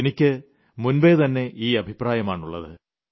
എനിക്ക് മുൻപേ തന്നെ ഈ അഭിപ്രായമാണ് ഉളളത്